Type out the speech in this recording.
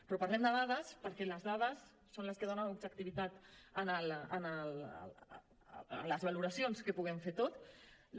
però parlem de dades perquè les dades són les que donen objectivitat en les valoracions que puguem fer tots